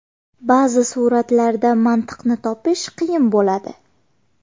Ba’zi suratlarda mantiqni topish qiyin bo‘ladi.